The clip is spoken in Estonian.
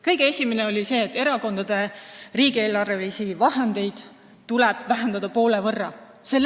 Kõige esimene neist oli see, et erakondade riigieelarvelisi vahendeid tuleb vähendada poole võrra.